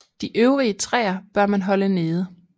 De øvrige træer bør man holde nede